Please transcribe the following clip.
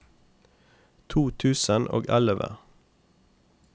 to tusen og elleve